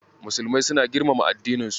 Musulmai suna girmama addininsu.